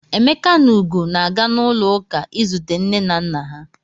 Emeka na Ugo na-aga n'ụlọụka izute nne na nna ha.